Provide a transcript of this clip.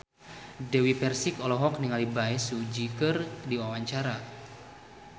Dewi Persik olohok ningali Bae Su Ji keur diwawancara